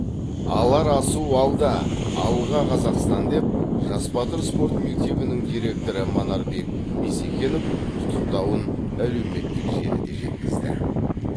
алар асу алда алға қазақстан деп жас батыр спорт мектебінің директоры манарбек бисекенов құттықтауын әлеуметтік желіде жеткізді